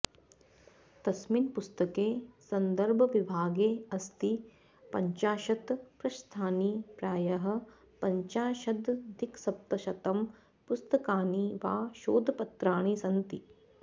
तस्मिन् पुस्तके संदर्भविभागेऽस्ति पञ्चाशत् पृष्ठानि प्रायः पञ्चाशदधिकसप्तशतं पुस्तकानि वा शोधपत्राणि सन्ति